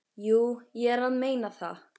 Jú, ég er að meina það.